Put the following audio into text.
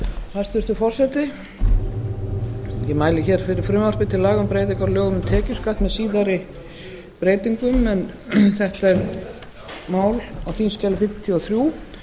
hæstvirtur forseti ég mæli hér fyrir frumvarpi til laga um breytingu á lögum um tekjuskatt með síðari breytingum en þetta er mál á þingskjali fimmtíu og þrjú